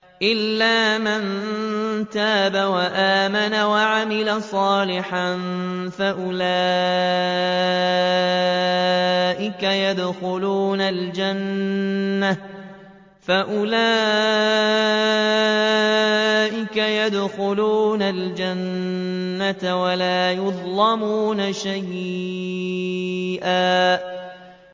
إِلَّا مَن تَابَ وَآمَنَ وَعَمِلَ صَالِحًا فَأُولَٰئِكَ يَدْخُلُونَ الْجَنَّةَ وَلَا يُظْلَمُونَ شَيْئًا